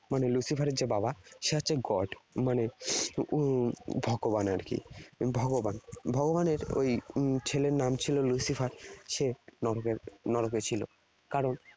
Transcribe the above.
মানে Lucifer এর যে বাবা, সে হচ্ছে god । মানে উম ভগবান আর কি। ভগবান। ভগবানের ওই উম ছেলের নাম ছিল Lucifer, সে নরকে ছিল কারণ